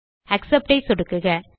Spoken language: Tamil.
ஆக்செப்ட் ஐ சொடுக்குக